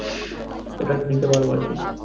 ওটা একটু নিতে পারবো আর কি